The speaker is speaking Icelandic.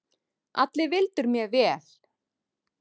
Allir vildu mér vel.